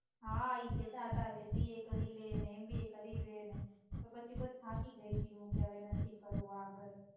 હા ઈ કેટ હતા કે સીએ કરી લે ને એમબીએ કરી લે ને પણ પછી બસ હું થાકી ગઈ તી કે હવે નથી કરવું આગળ